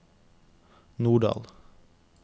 Norddal